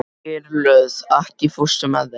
Geirlöð, ekki fórstu með þeim?